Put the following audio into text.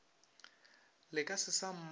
le ka se sa mmona